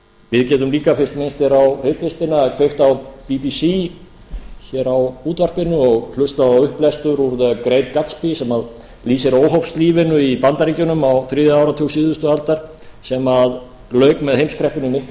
við getum líka fyrst minnst er á ritlistina kveikt á bbc hér á útvarpinu og hlustað á upplestur úr the great gatsby sem lýsir óhófslífinu í bandaríkjunum á þriðja áratug síðustu aldar sem lauk með heimskreppunni miklu